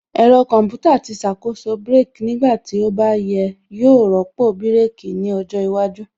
Ẹ̀rọ Kọmputa tí ṣàkóso brake nígbà tí ó bá yẹ yóò rọ́pò bírèkī ní ọjọ́ iwájú